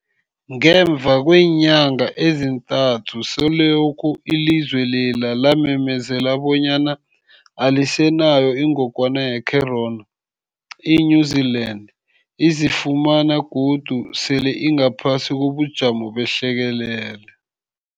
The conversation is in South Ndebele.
Ngemva kweenyanga ezintathu selokhu ilizwe lela lamemezela bonyana alisenayo ingogwana ye-corona, i-New-Zealand izifumana godu sele ingaphasi kobujamo behlekelele.